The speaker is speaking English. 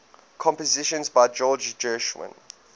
compositions by george gershwin